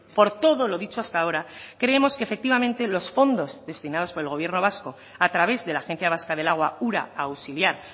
por todo lo dicho hasta ahora creemos que efectivamente los fondos destinados por el gobierno vasco a través de la agencia vasca del agua ura auxiliar